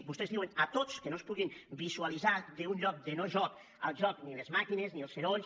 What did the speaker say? vostès diuen a tots que no es pugui vi·sualitzar d’un lloc de no·joc el joc ni les màquines ni els sorolls